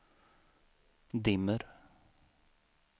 dimmer